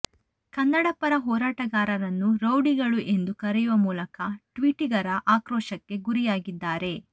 ಕನ್ನಡ ಪರ ಹೋರಾಟಗಾರರನ್ನು ರೌಡಿಗಳು ಎಂದು ಕರೆಯುವ ಮೂಲಕ ಟ್ವೀಟಿಗರ ಆಕ್ರೋಶಕ್ಕೆ ಗುರಿಯಾಗಿದ್ದಾರೆ